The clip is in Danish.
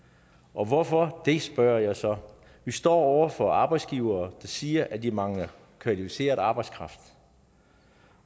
og hvorfor det spørger jeg så vi står over for arbejdsgivere der siger at de mangler kvalificeret arbejdskraft